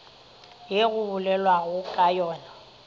ye go bolelwago ka yona